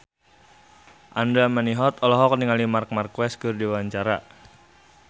Andra Manihot olohok ningali Marc Marquez keur diwawancara